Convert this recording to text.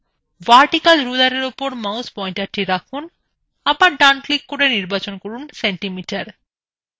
vertical rulerএর উপর mouse পয়েন্টারthe রাখুন আবার ডানclick করে নির্বাচন করুন centimeter